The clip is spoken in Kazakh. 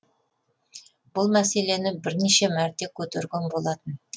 бұл мәселені бірнеше мәрте көтерген болатын